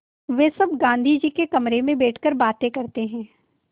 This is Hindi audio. वे सब गाँधी जी के कमरे में बैठकर बातें करते हैं